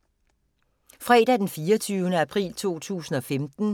Fredag d. 24. april 2015